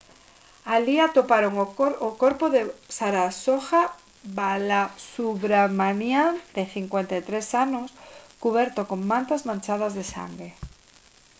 alí atoparon o corpo de saroja balasubramanian de 53 anos cuberto con mantas manchadas de sangue